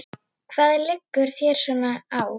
Hvað liggur þér svona á?